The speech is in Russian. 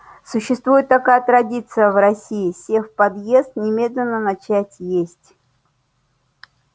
существует такая традиция в россии сев в подъезд немедленно начать есть